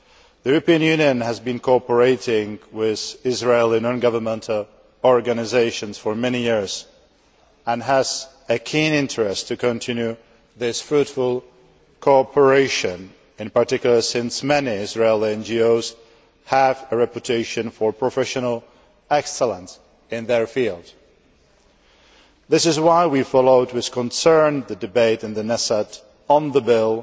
The EU has been cooperating with Israeli non governmental organisations for many years and has a keen interest in continuing this fruitful cooperation, in particular, since many Israeli NGOs have a reputation for professional excellence in their fields. This is why we followed with concern the debate in the Knesset on the bill